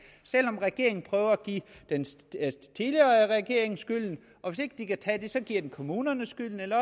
regeringen prøver at give den tidligere regering skylden og hvis ikke de kan tage det giver den kommunerne skylden eller